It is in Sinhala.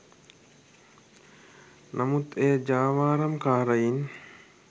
නමුත් එය ජාවාරම්කාරයින්